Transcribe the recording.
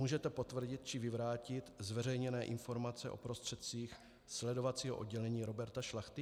Můžete potvrdit či vyvrátit zveřejněné informace o prostředcích sledovacího oddělení Roberta Šlachty?